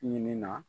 Ɲinin na